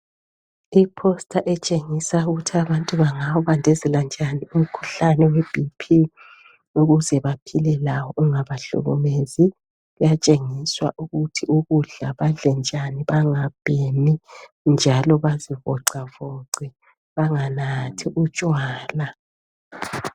Iposta etshengisa ukuthi abantu bangawubandezela njani umkhuhlane we BP ukuze baphile lawo ungahlukumezi uyatshengiswa ukuthi ukudla badle njani bangabhemi njalo bazivoxavoxi banganathi utshwala.